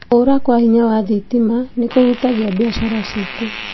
Kũra kwa hinya wa thitima nĩkũhutagia biacara citũ